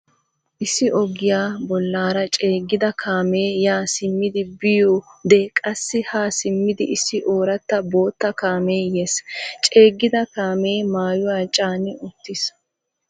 Issi ogiya bollaara ceeggida kaamee ya simmidi biyode qassi ha simmidi issi ooratta bootta kaamee yees, ceeggida kaamee maayuwa caani uttiis.